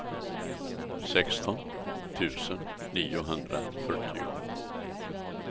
sexton tusen niohundrafyrtio